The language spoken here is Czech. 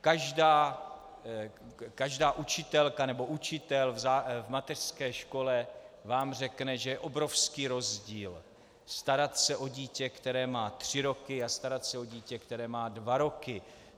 Každá učitelka nebo učitel v mateřské škole vám řekne, že je obrovský rozdíl starat se o dítě, které má tři roky, a starat se o dítě, které má dva roky.